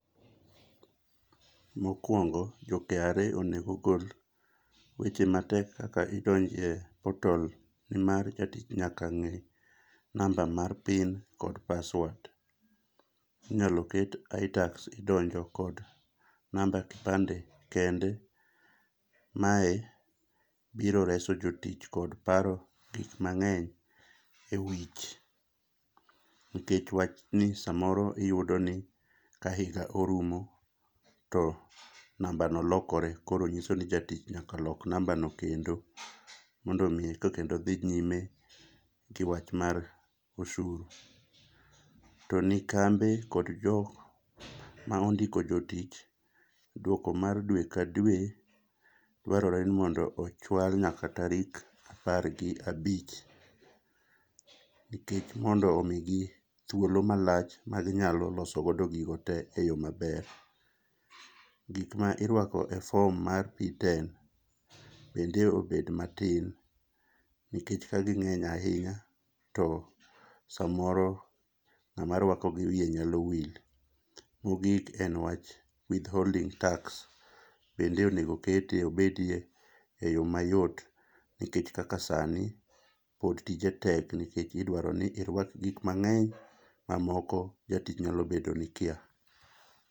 Mokuongo jo KRA onego ogol weche matek kakaidonje portal mar jotij nyaka nge namb a mar pin kod password. Inyalo ket Itax idonje kod namba kipande kende mae biro reso jotich kod paro gik mangeny ewich nikech wach ni samoro iyudo ni ka higa orumo to namba no lokore, koro nyiso ni jatich nyaka lok namba no kendo mondo mi to kendo odhi nyime gi wach mar osuru. To ni kambe kod joma ondiko jotich duok mar dwe ka dwe dwarore ni mondo ochwal nyaka tarik apar gabich gi mondo omigi thuolo malach magi nyalo loso godo gino tee e yoo maber. Gikma irwako e form mar P10 bende obed matin nikech kagi ngeny ahinya to samoro ngama rwako gi wiye nyalo wil .Mogik en wach withholding tax, bende onego okete obedi e yoo mayot nikech kaka sani, pod tije tek nikech idwaro ni irwak gik mangeny mamoko jatich nyalo bedo ni kia